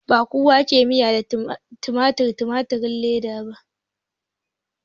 Ba kowa ke miyar tumatir da tumatirin leda ba